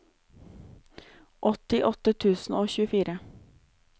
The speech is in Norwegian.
åttiåtte tusen og tjuefire